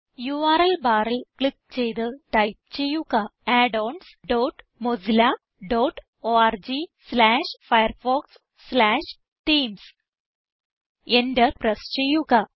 URLബാറിൽ click ചെയ്ത് type ചെയ്യുക addons dot Mozilla dot org slash Firefox slash themes Enter press ചെയ്യുക